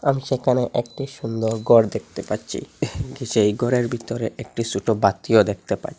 আমি সেখানে একটি সুন্দর গর দেখতে পাচ্ছি সেই গরের বিতরে একটি সটো বাতিও দেখতে পাই।